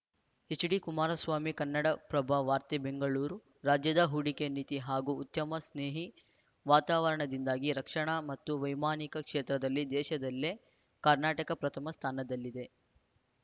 HD Kumaraswamy Kannadaprabha ವಾರ್ತೆ ಬೆಂಗಳೂರು ರಾಜ್ಯದ ಹೂಡಿಕೆ ನೀತಿ ಹಾಗೂ ಉದ್ಯಮ ಸ್ನೇಹಿ ವಾತಾವರಣದಿಂದಾಗಿ ರಕ್ಷಣಾ ಮತ್ತು ವೈಮಾನಿಕ ಕ್ಷೇತ್ರದಲ್ಲಿ ದೇಶದಲ್ಲೇ ಕರ್ನಾಟಕ ಪ್ರಥಮ ಸ್ಥಾನದಲ್ಲಿದೆ